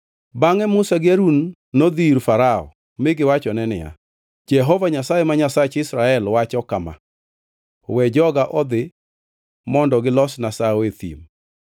Bangʼe Musa gi Harun nodhi ir Farao mi giwachone niya, “Jehova Nyasaye, ma Nyasach jo-Israel wacho kama: ‘We joga odhi, mondo gilosna sawo e thim.’ ”